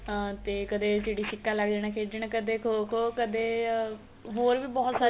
ਆ ਤੇ ਕਦੇ ਚਿੜੀ ਛਿਕਾ ਲੈ ਕੇ ਜਾਣਾ ਖੇਡਣ ਕਦੇ ਖੋ ਖੋ ਕਦੇ ਆ ਹੋਰ ਵੀ ਬਹੁਤ ਸਾਰੀਆ